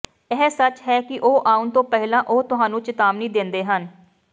ਇਹ ਸੱਚ ਹੈ ਕਿ ਉਹ ਆਉਣ ਤੋਂ ਪਹਿਲਾਂ ਉਹ ਤੁਹਾਨੂੰ ਚੇਤਾਵਨੀ ਦਿੰਦੇ ਹਨ